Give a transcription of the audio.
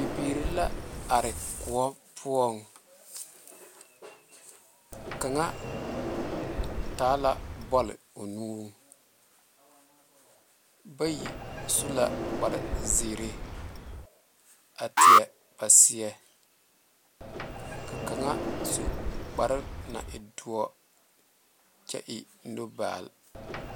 Bibiiri la are kõɔ poɔ kaŋ taa la bole bayi su la kpaare zeɛre a taɛ a seɛ ka kaŋa meŋ su kpaare dore kyɛ eŋ nu balle.